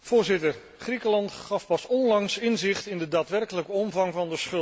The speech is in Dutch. Griekenland gaf pas onlangs inzicht in de daadwerkelijke omvang van de schulden.